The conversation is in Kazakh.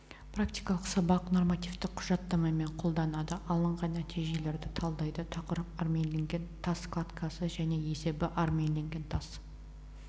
практикалық сабақ нормативтік құжаттамамен қолданады алынған нәтижелерді талдайды тақырып армирленген тас кладкасы және есебі армирленген тас